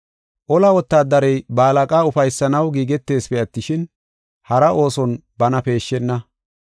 Ola wotaadarey ba tora mocona ufaysanaw giigeteesipe attishin, hara ooson bana peeshshenna.